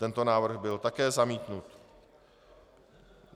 Tento návrh byl také zamítnut.